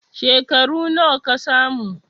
Shekaru nawa ka samu?